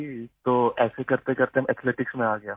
تو آہستہ آہستہ، میں ایتھلیٹکس میں آ گیا